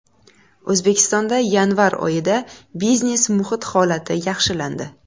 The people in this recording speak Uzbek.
O‘zbekistonda yanvar oyida biznes-muhit holati yaxshilandi.